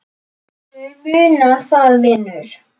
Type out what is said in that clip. Viltu muna það, vinur?